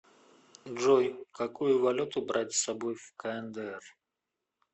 джой какую валюту брать с собой в кндр